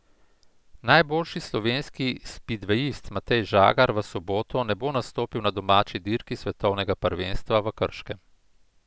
Najboljši slovenski spidvejist Matej Žagar v soboto ne bo nastopil na domači dirki svetovnega prvenstva v Krškem.